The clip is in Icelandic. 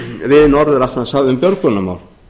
við norður atlantshaf um björgunarmál